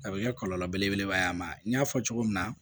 A bɛ kɛ kɔlɔlɔ belebeleba ye a ma n y'a fɔ cogo min na